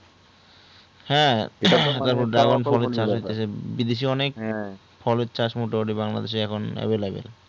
হ্যাঁ বিদেশ এ অনেক বিদেশ এ অনেক ফলের চাষ মোটামুটি বাংলাদেশ এ এখন heavy লাগে